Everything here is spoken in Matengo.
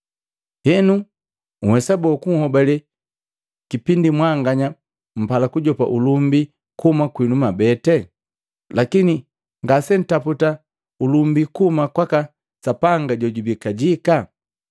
Henu nhwesa boo kunhobale kipindi mwanganya mpala kujopa ulumbi kuhuma kwinu mwabeti, lakini ngasentaputa ulumbi kuhuma kwaka Sapanga jojubii kajika?